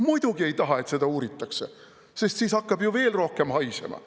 Muidugi ei taha, et seda uuritakse, sest siis hakkab ju veel rohkem haisema.